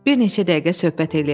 Bir neçə dəqiqə söhbət eləyək.